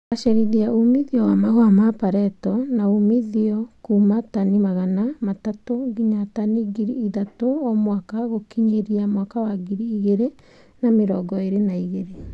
Kugacĩrithia umithio wa mahũa ma pareto na umithio kuuma tani magana matatũ nginya tani ngiri ithatũ o mwaka gũkinyĩria mwaka wa ngiri igĩrĩ na mĩrongo ĩrĩ na igĩrĩ